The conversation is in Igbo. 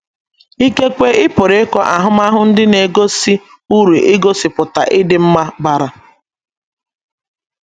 Ikekwe, ị pụrụ ịkọ ahụmahụ ndị na - egosi uru igosipụta ịdị mma bara.